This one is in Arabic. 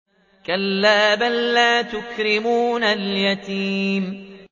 كَلَّا ۖ بَل لَّا تُكْرِمُونَ الْيَتِيمَ